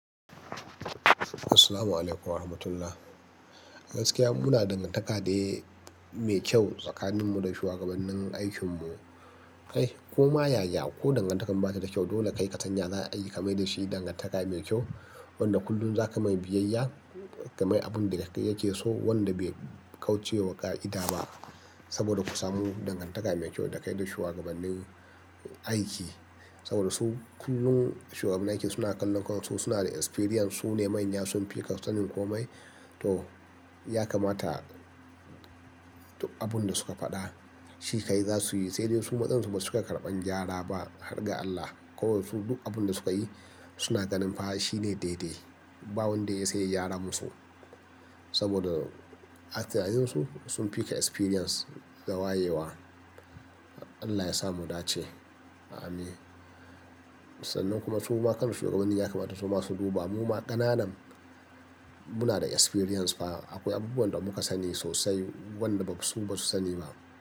Assalamualaikum warahmatullahi. Gaskiya muna da dangantaka da mai kyau tsakaninmu da shugabannin aikinmu. Kai ko ma yaya ko dangantakar ba ta da kyau dole kai ka san ya aiki ka mai da shi dangantaka mai kyau. Wanda kullum za ka mai biyayya ka mai abin da yake so wanda bai kauce wa ƙa'ida ba. Saboda ku samu dangantaka mai kyau da kai da shugabannin aiki. Saboda su kullum shugabannin aiki suna kallo kansu suna da experience su ne manya sun fi ka sanin komai. To ya kamata abin da suka faɗa shi ka yi za su yi sai dai su matsansa ba su karɓan gyara ba har ga Allah. Ko su duk abin da suka yi suna ganin fa shi ne daidai. Ba wanda ya iya sai ya gyara musu. Saboda ha atinaninsu sun fi ka experience, da wayewa Allah ya sa mu dace. Ameen. Sannan kuma su ma kaman shugabanni ya kamata su masu duba mu ma ƙananan muna da experience fa akwai abubuwan da muka sani sosai wanda su ba su sani ba.